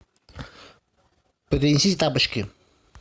принесите тапочки